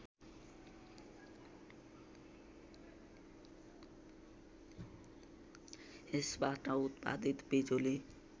यसबाट उत्पादित बिजुली